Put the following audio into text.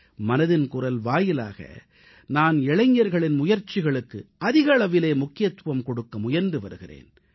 மனதின் குரல் வாயிலாக நான் இளைஞர்களின் முயற்சிகளுக்கு அதிக அளவிலே முக்கியத்துவம் கொடுக்க முயன்று வருகிறேன்